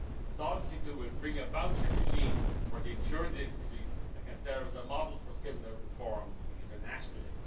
Solvency II will bring about a regime for the insurance industry that can serve as a model for similar reforms internationally.